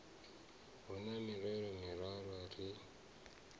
hu na mirero miraru ri